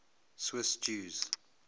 swiss jews